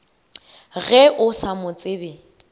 ge o sa mo tsebe